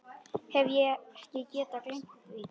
Hef ekki getað gleymt því.